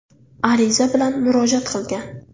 ariza bilan murojaat qilgan.